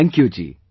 Thank you ji